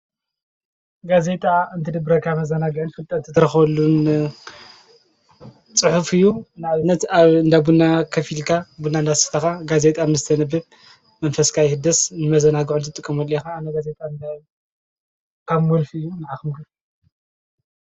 ጋዜጥዓ እንት ድብረ ካ መዘናግዕን ፍልጠት ትረኸሉን ጽሑፍ እዩ ናብነት ኣእንብና ኸፊልካ ብናእንዳስፍታኻ ጋዜይጣ ምስተ ንብብ መንፈስካይህደስ ንመዘናግዑን ዘጥቅሙን ኻ ኣነ ገዜጣ እብካብ ምልፍ እዩ ንኣኽምሉ